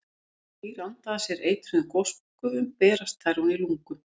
Þegar dýr anda að sér eitruðum gosgufum berast þær ofan í lungu.